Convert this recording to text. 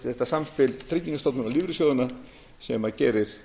þetta samspil tryggingastofnunar og lífeyrissjóðanna sem gerir